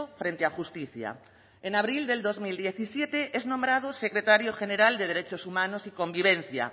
frente a justicia en abril del dos mil siete es nombrado secretario general de derechos humanos y convivencia